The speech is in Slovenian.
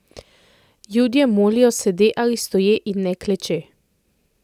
Judje molijo sede ali stoje in ne kleče!